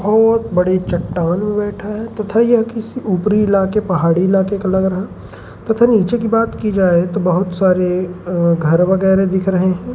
बहोत बड़ी चट्टान में बैठा है तथा यह किसी ऊपरी इलाके पहाड़ी इलाके का लग रहा तथा नीचे की बात की जाए तो बहोत सारे अ घर वैगेरे दिख रहे हैं।